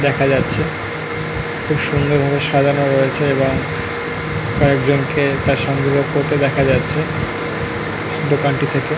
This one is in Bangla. দেখা যাচ্ছে। খুব সুন্দর ভাবে সাজানো রয়েছে এবং কয়েকজন কে তার সঙ্গে করতে দেখা যাচ্ছে দোকানটি থেকে--